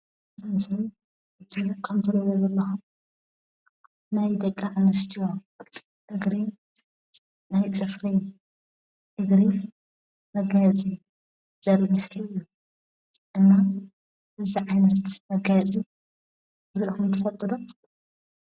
ሳንስ እት ከምተልኒ ዘለ ናይ ደቃ እነስትዮ እግሪ ናይ ትፍሪ እግሪ መጋየፂ ዘር ምስ እና ብዛ ዓይነርት መጋየፂ ብርእኹን ትፈጡዶ?